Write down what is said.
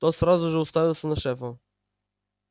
тот сразу же уставился на шефа